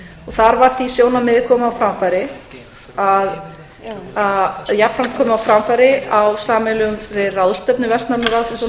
þar var því sjónarmiði jafnframt komið á framfæri á sameiginlegri ráðstefnu vestnorræna ráðsins og